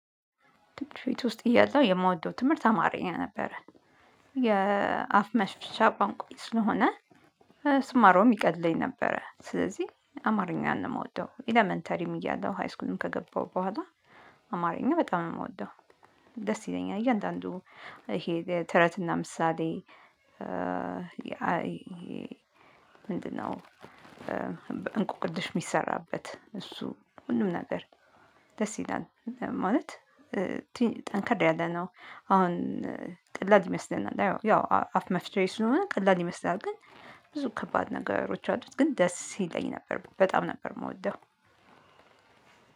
ትምህርት ቤት ውስጥ እያለው የምወደው ትምህርት አማርኛ ነበረ የአፍ መሽፍቻ ቋንቋዬ ስለሆነ ስማረውም ይቀለኝ ነበረ። ስለዚህ አማርኛን ነው ምወደው ኤለመንተሪም እያለው ሃይስኩልም ከገባሁ በኋላ አማርኛ በጣም የምወደው። ደስ ይለኛል እያንዳንዱ ይሄ ተረትና ምሳሌ ምንድን ነው? እንቆቅልሽ ሚሰራበት እሱ ሁሉም ነገር ደስ ይላል ማለት። ጠንከር ያለ ነው። አሁን ቀላል ይመስለናል ያው አፍ መፍትሄ ስለሆነ ቀላል ይመስላል። ግን ብዙ ከባድ ነገሮች አሉት ግን ደስ ይለኝ ነበር በጣም ነበር ምወደው።